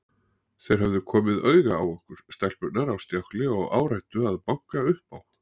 Þeir höfðu komið auga á okkur stelpurnar á stjákli og áræddu að banka upp á.